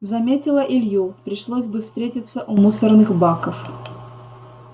заметила илью пришлось бы встретиться у мусорных баков